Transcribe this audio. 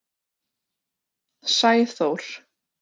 Sæþór